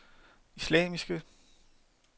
islamiske